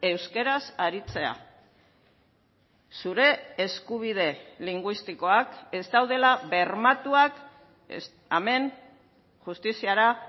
euskaraz aritzea zure eskubide linguistikoak ez daudela bermatuak hemen justiziara